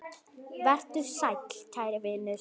Vertu sæll, kæri vinur.